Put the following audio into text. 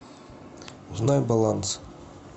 узнай баланс